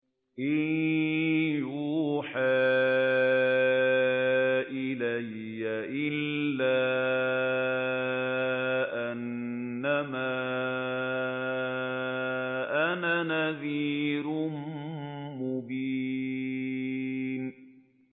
إِن يُوحَىٰ إِلَيَّ إِلَّا أَنَّمَا أَنَا نَذِيرٌ مُّبِينٌ